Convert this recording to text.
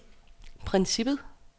princippet